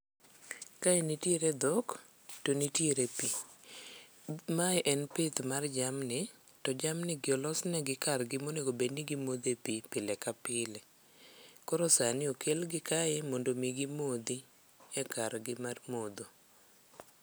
Kae nitiere dhok to nitiere pi. Mae en pith mar jamni, to jamni gi olosnegi kargi monegobedni gimodhe pi pile ka pile. Koro sani okelgi kar modho mi gimodhi e kargi mar modho.